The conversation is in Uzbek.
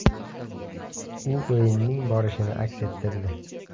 U o‘yining borishini aks ettirdi.